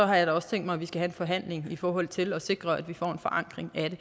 har jeg da også tænkt mig at vi skal have en forhandling i forhold til at sikre at vi får en forankring af det